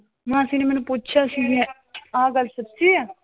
ਮਾਸੀ ਨੇ ਮੈਨੂੰ ਪੁੱਛਿਆ ਸੀ ਵੇ ਆਹ ਗੱਲ ਸੱਚੀ ਆ?